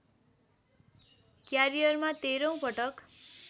क्यारियरमा तेह्रौँ पटक